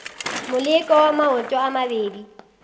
moleko wa maoto a mabedi